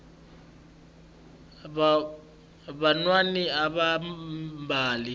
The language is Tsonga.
vanwani ava mbali